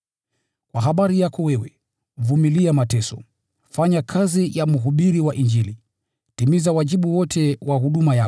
Kwa habari yako wewe, vumilia mateso, fanya kazi ya mhubiri wa Injili, timiza wajibu wote wa huduma yako.